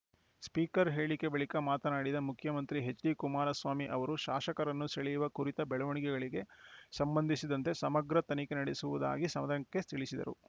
speaker ಹೇಳಿಕೆ ಬಳಿಕ ಮಾತನಾಡಿದ ಮುಖ್ಯಮಂತ್ರಿ ಎಚ್‌ಡಿಕುಮಾರಸ್ವಾಮಿ ಅವರು ಶಾಸಕರನ್ನು ಸೆಳೆಯುವ ಕುರಿತ ಬೆಳವಣಿಗೆಗಳಿಗೆ ಸಂಬಂಧಿಸಿದಂತೆ ಸಮಗ್ರ ತನಿಖೆ ನಡೆಸುವುದಾಗಿ ಸದನಕ್ಕೆ ತಿಳಿಸಿದರು